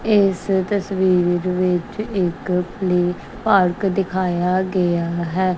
ਇਸ ਤਸਵੀਰ ਵਿੱਚ ਇੱਕ ਪਲੇ ਪਾਰਕ ਦਿਖਾਇਆ ਗਿਆ ਹੈ।